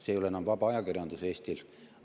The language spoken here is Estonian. See ei ole enam vaba ajakirjandus Eestil.